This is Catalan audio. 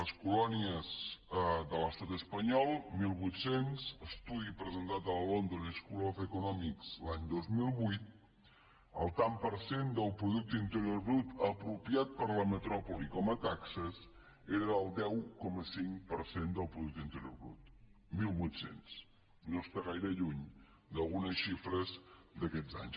les colònies de l’estat espanyol mil vuit cents estudi presentat a la london school of economics l’any dos mil vuit el tant per cent del producte interior brut apropiat per la metròpoli com a taxes era del deu coma cinc per cent del producte interior brut mil vuit cents no està gaire lluny d’algunes xifres d’aquests anys